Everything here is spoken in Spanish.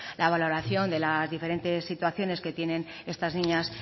la valoración de las diferentes situaciones que tienen estas niñas